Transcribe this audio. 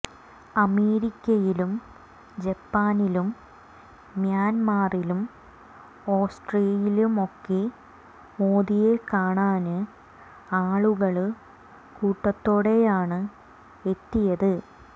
അമേരിക്കയിലും ജപ്പാ നിലും മ്യാന്മറിലും ഓസ്ട്രേലിയയിലുമൊക്കെ മോദിയെക്കാണാന് ആളുകള് കൂട്ടത്തോടെയാണ് എത്തിയത്